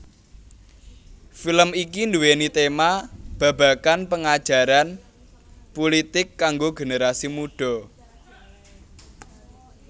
Film iki duwéni tema babagan pengajaran pulitik kanggo generasi mudha